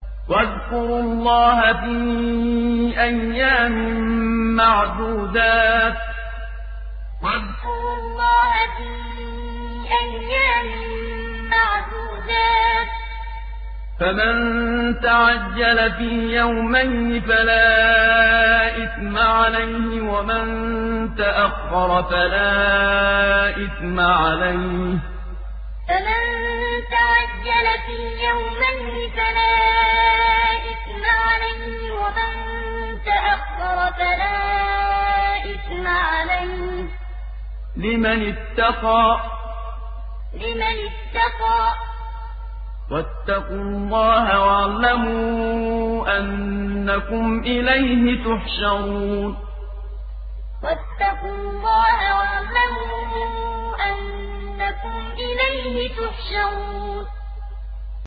۞ وَاذْكُرُوا اللَّهَ فِي أَيَّامٍ مَّعْدُودَاتٍ ۚ فَمَن تَعَجَّلَ فِي يَوْمَيْنِ فَلَا إِثْمَ عَلَيْهِ وَمَن تَأَخَّرَ فَلَا إِثْمَ عَلَيْهِ ۚ لِمَنِ اتَّقَىٰ ۗ وَاتَّقُوا اللَّهَ وَاعْلَمُوا أَنَّكُمْ إِلَيْهِ تُحْشَرُونَ ۞ وَاذْكُرُوا اللَّهَ فِي أَيَّامٍ مَّعْدُودَاتٍ ۚ فَمَن تَعَجَّلَ فِي يَوْمَيْنِ فَلَا إِثْمَ عَلَيْهِ وَمَن تَأَخَّرَ فَلَا إِثْمَ عَلَيْهِ ۚ لِمَنِ اتَّقَىٰ ۗ وَاتَّقُوا اللَّهَ وَاعْلَمُوا أَنَّكُمْ إِلَيْهِ تُحْشَرُونَ